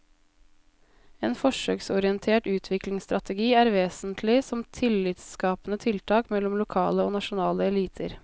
En forsøksorientert utviklingsstrategi er vesentlig som tillitsskapende tiltak mellom lokale og nasjonale eliter.